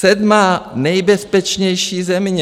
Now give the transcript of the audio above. Sedmá nejbezpečnější země.